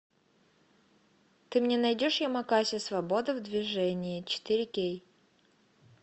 ты мне найдешь ямакаси свобода в движении четыре кей